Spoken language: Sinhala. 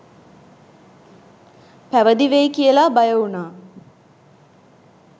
පැවිදි වෙයි කියලා බය වුණා